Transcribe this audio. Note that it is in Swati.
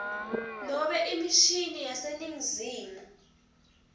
nobe imishini yaseningizimu